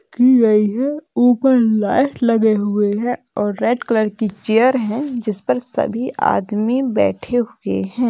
की गई है ऊपर लाइट लगे हुए है और रेड कलर की चेयर है जिसपर सभी आदमी बठै हुऐ है।